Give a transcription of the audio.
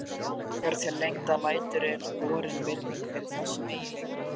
Þegar til lengdar lætur er borin virðing fyrir þessum eiginleikum.